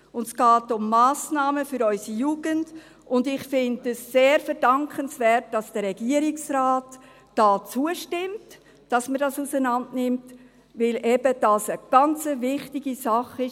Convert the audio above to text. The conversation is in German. Es geht um Massnahmen für unsere Jugend, und ich finde es sehr verdankenswert, dass der Regierungsrat hier zustimmt, dass man es auseinandernimmt, weil es eben eine ganz wichtige Sache ist.